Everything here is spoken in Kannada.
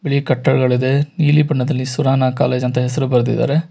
ಬಿಳಿ ಕಟ್ಟಡಗಳಿದೆ ನೀಲಿ ಬಣ್ಣದಲ್ಲಿ ಸುರನಾ ಕಾಲೇಜ್ ಅಂತ ಹೆಸರು ಬರೆದಿದ್ದಾರೆ.